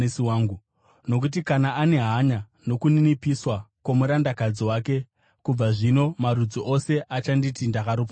nokuti akanga ane hanya nokuninipiswa kwomurandakadzi wake. Kubva zvino marudzi ose achanditi ndakaropafadzwa,